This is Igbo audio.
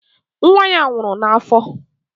Nwa ya nwụrụ n'afọ.